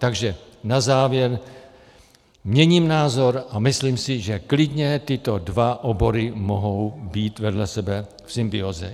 Takže na závěr, měním názor a myslím si, že klidně tyto dva obory mohou být vedle sebe v symbióze.